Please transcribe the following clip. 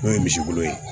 N'o ye misibolon ye